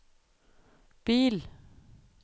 bil